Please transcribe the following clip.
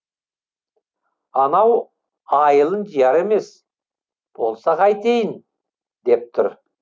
анау айылын жияр емес болса қайтейін деп тұр